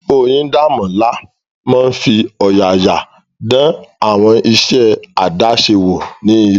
Oyindamola máa fi ọ̀yàyà dán àwọn iṣẹ́ àdáṣe wò ní ilé.